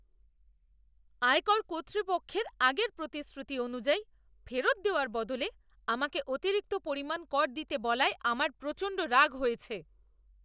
আয়কর কর্তৃপক্ষের আগের প্রতিশ্রুতি অনুযায়ী ফেরত দেওয়ার বদলে আমাকে অতিরিক্ত পরিমাণ কর দিতে বলায় আমার প্রচণ্ড রাগ হয়েছে।